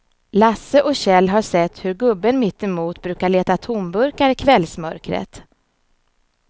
Lasse och Kjell har sett hur gubben mittemot brukar leta tomburkar i kvällsmörkret.